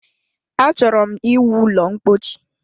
Achọrọ ịwu ụlọ ḿkpóchí